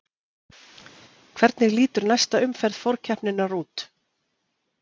Hvernig lítur næsta umferð forkeppninnar út?